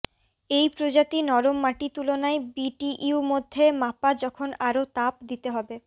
এই প্রজাতি নরম মাটি তুলনায় বিটিইউ মধ্যে মাপা যখন আরো তাপ দিতে হবে